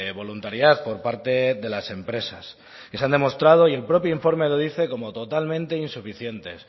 voluntariedad por parte de las empresas y se han demostrado y el propio informe lo dice como totalmente insuficientes